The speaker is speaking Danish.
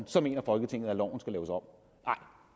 så mener folketinget at loven skal laves om